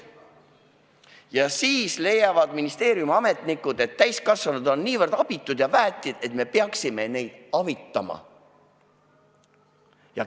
Ja siis leiavad ministeeriumi ametnikud, et täiskasvanud on nii abitud ja väetid, et me peaksime neid avitama.